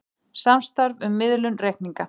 Samstarf um miðlun reikninga